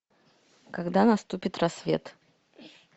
когда наступит рассвет